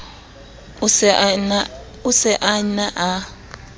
o se a ne a